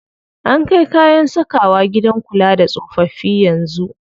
An kai kayan sakawa gidan kula da tsofaffi yanzu.